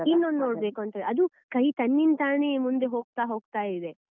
ಇನ್ನೊಂದು ನೋಡ್ಬೇಕು ಅಂತ ಅದು ಕೈ ತನ್ನಿನ್ತಾನೇ ಮುಂದೆ ಹೋಗ್ತಾ ಹೋಗ್ತಾ ಇದೆ.